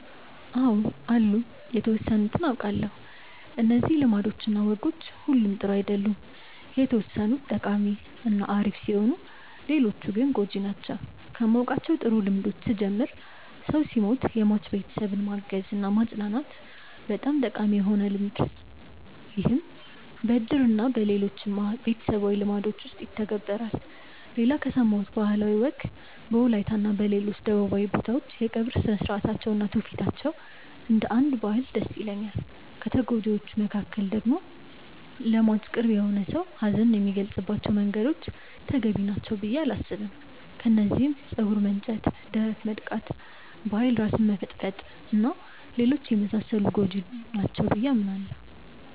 አው አሉ የተወሰኑትን አውቃለው። እነዚህ ልማዶች እና ወጎች ሁሉም ጥሩ አይደሉም የተወሰኑት ጠቃሚ እና አሪፍ ሲሆኑ ሌሎቹ ጎጂ ናቸው። ከማውቃቸው ጥሩ ልምዶች ስጀምር ሰው ሲሞት የሟች ቤተሰብን ማገዝ እና ማፅናናት በጣም ጠቃሚ የሆነ ልምድ ይህም በእድር እና በሌሎችም ቤተሰባዊ ልምዶች ይተገበራል። ሌላ ከሰማሁት ባህላዊ ወግ በወላይታ እና ሌሎች ደቡባዊ ቦታዎች የቀብር ስርአታቸው እና ትውፊታቸው እንደ አንድ ባህል ደስ ይለኛል። ከጎጂዎቹ ደግሞ ለሟች ቅርብ የሆነ ሰው ሀዘኑን የሚገልፀባቸው መንገዶች ተገቢ ናቸው ብዬ አላስብም። ከነዚህም ፀጉር መንጨት፣ ደረት መድቃት፣ በኃይል ራስን መፈጥፈጥ እና ሌሎችም የመሳሰሉት ጎጂ ናቸው ብዬ አስባለው።